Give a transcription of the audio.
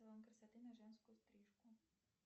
салон красоты на женскую стрижку